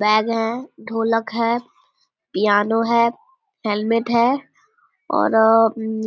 bag है ढोलक है पियानो है हेलमेट है और